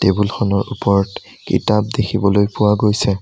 Table খনৰ ওপৰত কিতাপ দেখিবলৈ পোৱা গৈছে।